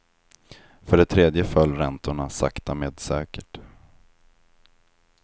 För det tredje föll räntorna sakta med säkert.